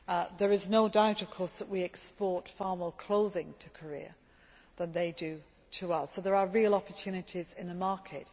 There is no doubt that we export far more clothing to Korea than they do to us, so there are real opportunities in the market.